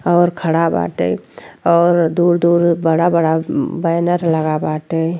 और खड़ा बाटे और दूर दूर बड़ा बड़ा बैनर लगा बाटे।